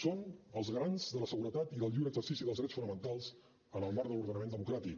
són els garants de la seguretat i del lliure exercici dels drets fonamentals en el marc de l’ordenament democràtic